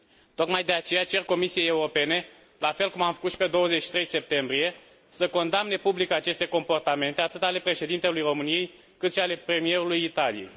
Tocmai de aceea cer Comisiei Europene, la fel cum am făcut și pe 23 septembrie, să condamne public aceste comportamente, atât ale președintelui României, cât și ale premierului Italiei.